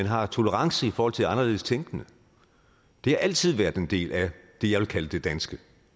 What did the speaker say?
har tolerance i forhold til anderledestænkende det har altid været en del af det jeg vil kalde det danske